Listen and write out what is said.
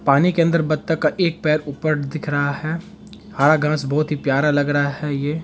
पानी के अंदर बत्तख का एक पैर ऊपर दिख रहा है हरा घास बोहोत ही प्यार लग रहा है ये।